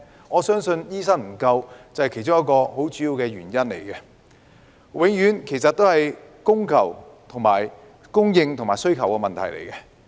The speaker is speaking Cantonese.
我相信醫生不足是其中一個很主要的原因，其實永遠是供應和需求的問題。